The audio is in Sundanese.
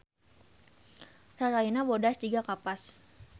Rarayna bodas jiga kapas